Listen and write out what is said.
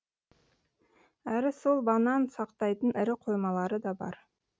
әрі сол банан сақтайтын ірі қоймалары да бар